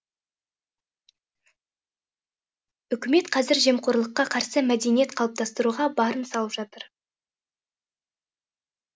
үкімет қазір жемқорлыққа қарсы мәдениет қалыптастыруға барын салып жатыр